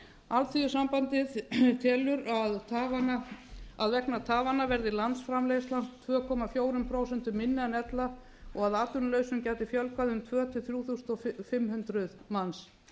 alþýðusambandið telur að vegna tafanna verði landsframleiðsla tvö komma fjögur prósent minni en ella og að atvinnulausum gæti fjölgað um tvö þúsund til þrjú þúsund fimm hundruð manns